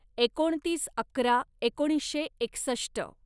एकोणतीस अकरा एकोणीसशे एकसष्ट